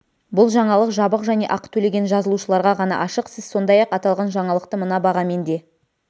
бұл жаңалық жабық және ақы төлеген жазылушыларға ғана ашық сіз сондай-ақ аталған жаңалықты мына бағамен де